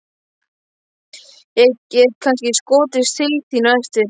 Ég get kannski skotist til þín á eftir.